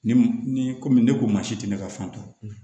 Ni ni komi ne ko maa si tɛ ne ka fan dɔn